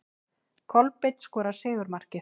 Kolbeinn skorar sigurmarkið.